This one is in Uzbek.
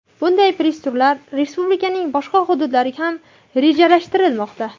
Bunday press-turlar respublikaning boshqa hududlariga ham rejalashtirilmoqda.